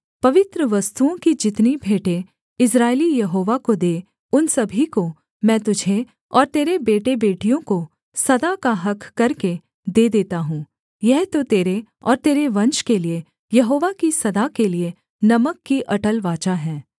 पवित्र वस्तुओं की जितनी भेंटें इस्राएली यहोवा को दें उन सभी को मैं तुझे और तेरे बेटेबेटियों को सदा का हक़ करके दे देता हूँ यह तो तेरे और तेरे वंश के लिये यहोवा की सदा के लिये नमक की अटल वाचा है